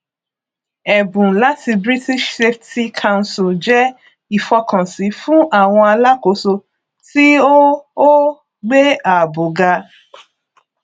ẹbùn láti british safety council jẹ ìfọkànsí fún àwọn alákóso tí ó ó gbé ààbò ga